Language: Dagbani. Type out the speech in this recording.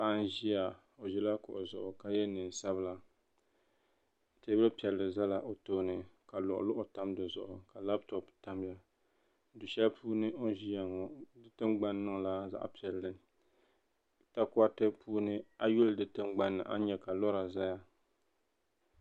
Paɣa n ʒiya o ʒila kuɣu zuɣu ka ye neen sabila teebuli piɛli ʒɛla o tooni ka luɣu luɣu tam di zuɣu ka laapitop tamya du shɛli puuni o ʒɛya ŋɔ di tiŋgbani niŋla zaɣ' piɛli ta koti puuni ayi yuli di tiŋgbani a nyɛ ka lora ʒɛya